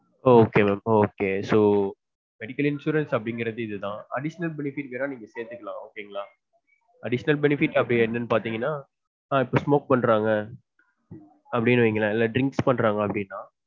ஒ okay mam அப்பொ okay so medical insurance அப்டிங்கறது இது தான் additional benefits என்னலான் தெரிஞ்சுக்களான் ok ங்களா additional benefits அப்டி என்ன பாத்தீங்கனா இப்ப smoke பண்ணுறாங்க அப்டினு வைங்களன் drink பண்றாங்க அப்டினா